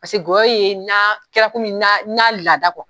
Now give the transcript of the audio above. Paseke gɔyɔ ye na kɛra komi n'a a laada